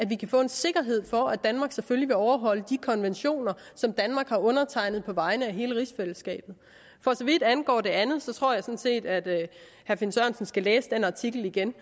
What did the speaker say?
vi kan få en sikkerhed for at danmark selvfølgelig vil overholde de konventioner som danmark har undertegnet på vegne af hele rigsfællesskabet for så vidt angår det andet tror jeg sådan set at herre finn sørensen skal læse den artikel igen